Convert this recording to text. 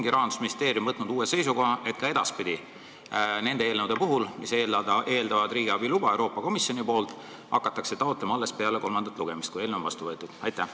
Kas Rahandusministeerium on võtnud uue seisukoha, et ka edaspidi nende eelnõude puhul, mis eeldavad riigiabiluba Euroopa Komisjonilt, hakatakse seda taotlema alles peale kolmandat lugemist, kui eelnõu on vastu võetud?